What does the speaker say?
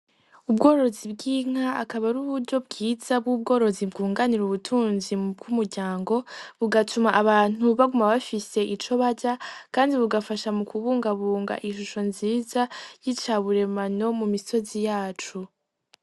Ubworozi bw'inka akaba ari uburyo bwiza bwunganira ubutunzi bw'umuryango, bugatuma abantu baguma bafise ico barya, kandi bugafasha mukubungabunga ishusho nziza, y'ica buremano mumisozi yaco.